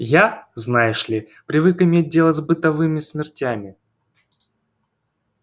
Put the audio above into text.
я знаешь ли привык иметь дело с бытовыми смертями